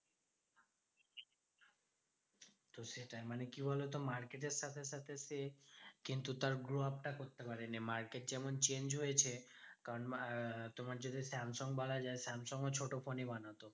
তো সেটাই মানে কি বলতো? market এর সাথে সাথে সে কিন্তু তার grow up টা করতে পারেনে market যেমন change হয়েছে, কারণ আহ তোমার যদি স্যামসাং বলা যায়, samsung ছোট phone ই বানাতো।